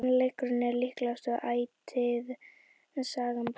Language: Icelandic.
sannleikurinn er líklega ætíð sagna bestur